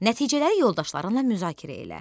Nəticələri yoldaşlarınla müzakirə elə.